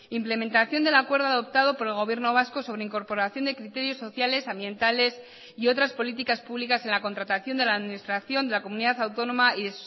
implementación del acuerdo adoptado por el gobierno vasco sobre incorporación de criterios sociales ambientales y otras políticas públicas en la contratación de la administración de la comunidad autónoma y